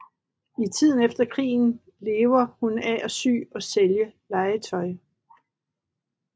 I tiden efter krigen lever hun af at sy og sælge legetøj